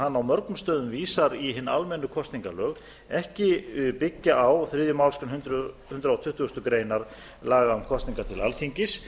hann á mörgum stöðum vísar í hin almennu kosningalög ekki byggja á þriðju málsgrein hundrað tuttugasta grein laga um kosningar til alþingis